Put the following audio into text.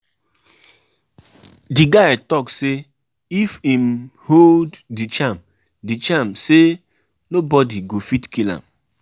Na for dis holiday I go learn how to cook different food